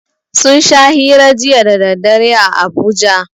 Sun sha hira jiya daddare a Abuja